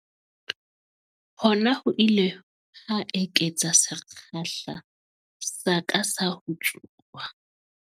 Hona ho ile ha eketsa sekgahla sa ka sa ho tsuba.